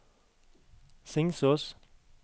Singsås